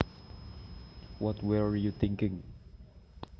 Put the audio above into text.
What were you thinking